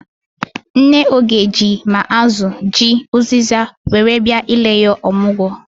Nne Oge ji ma azụ, ji, ụzịza were bịa ile ya ọmụgwọ.